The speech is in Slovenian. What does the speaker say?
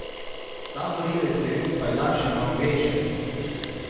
Ta morilec je bil s pajdašema obešen.